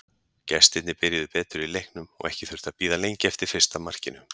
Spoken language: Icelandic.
Gestirnir byrjuðu betur í leiknum og ekki þurfti að bíða lengi eftir fyrsta markinu.